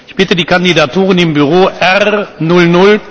Ich bitte, die Kandidaturen im Büro